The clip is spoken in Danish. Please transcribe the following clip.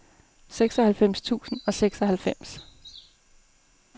seksoghalvfems tusind og seksoghalvfems